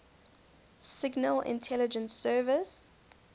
signal intelligence service